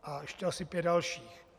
A ještě asi pět dalších.